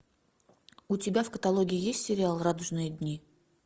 у тебя в каталоге есть сериал радужные дни